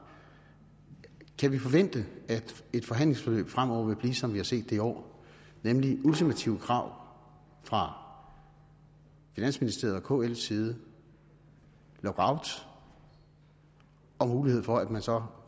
kan vi forvente at et forhandlingsforløb fremover vil blive som vi har set det i år nemlig med ultimative krav fra finansministeriets og kls side lockout og mulighed for at man så